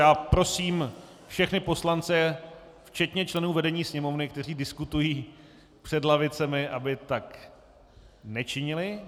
Já prosím všechny poslance včetně členů vedení Sněmovny, kteří diskutují před lavicemi, aby tak nečinili.